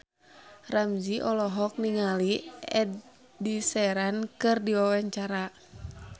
Ramzy olohok ningali Ed Sheeran keur diwawancara